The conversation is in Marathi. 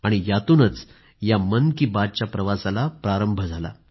आणि यातूनच या मन की बातच्या प्रवासाला प्रारंभ झाला